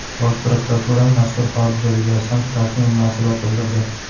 Bosh prokuratura mazkur hodisa yuzasidan rasmiy munosabat bildirdi.